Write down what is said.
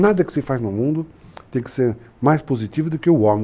Nada que se faz no mundo tem que ser mais positivo do que o homem.